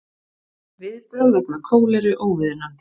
Viðbrögð vegna kóleru óviðunandi